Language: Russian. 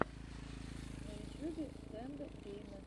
на ютьюбе тэндэ геймэ